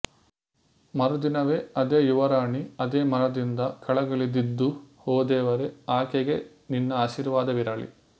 ಮರುದಿನವೇ ಅದೇ ಯುವರಾಣಿ ಅದೇ ಮರದಿಂದ ಕೆಳಗಿಳಿದಿದ್ದುಓ ದೇವರೆ ಆಕೆಗೆ ನಿನ್ನ ಆಶೀರ್ವಾದವಿರಲಿ